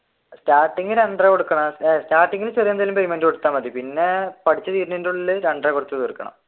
starting രണ്ടര കൊടുക്കണം സ്ഥിരം എന്തെങ്കിലും payment കൊടുത്ത മതി പിന്നെ പഠിച്ചു തീരുന്നതിന്റെ ഉള്ളിൽ രണ്ടര കൊടുത്തു തീർക്കണം.